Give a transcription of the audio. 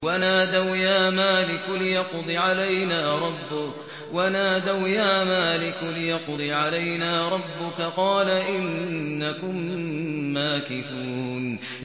وَنَادَوْا يَا مَالِكُ لِيَقْضِ عَلَيْنَا رَبُّكَ ۖ قَالَ إِنَّكُم مَّاكِثُونَ